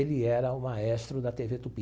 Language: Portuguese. Ele era o maestro da tê vê Tupi.